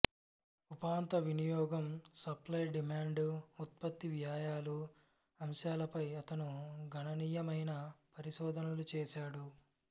ఉపాంత వినియోగం supply demand ఉత్పత్తి వ్యయాలు అంశాలపై అతను గణనీయమైన పరిశోధనలు చేసాడు